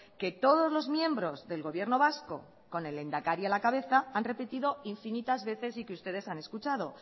que todos los miembros del gobierno vasco con el lehendakari a la cabeza han repetido infinitas veces y que ustedes han escuchado